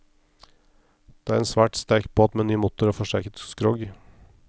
Det er en svært sterk båt med ny motor og forsterket skrog.